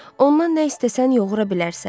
Ondan nə istəsən yoğura bilərsən.